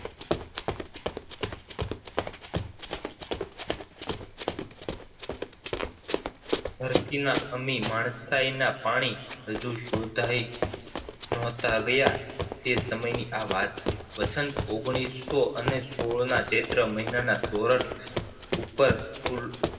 ધરતી નાં અમી માણસાઈ નાં પાણી શોધાઈ નહોતા ગયા એ સમય ની આ વાત છે વસંત ઓગણીસો અને શોળ ના ચેત્ર મહિના સોરઠ ઉપર કુલ